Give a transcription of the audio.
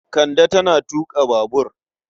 Kande tana tuƙa babur.